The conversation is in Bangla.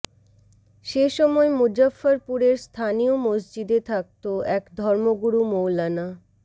সে সময় মুজফ্ফরপুরের স্থানীয় মসজিদে থাকত এক ধর্মগুরু মৌলানা